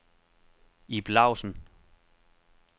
Ib Lausen